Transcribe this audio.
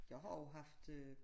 Jeg har jo haft øh